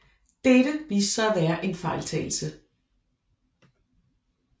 Dette viste sig at være en fejltagelse